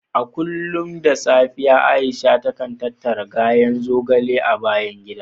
A kullum da safe Aisha takan tattara ganyen zogale a bayan gida.